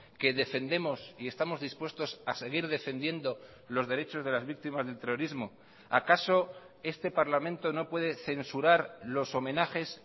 que defendemos y estamos dispuestos a seguir defendiendo los derechos de las víctimas del terrorismo acaso este parlamento no puede censurar los homenajes